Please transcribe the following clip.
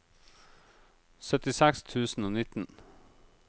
syttiseks tusen og nitten